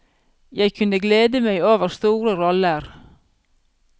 Jeg kunne glede meg over store roller.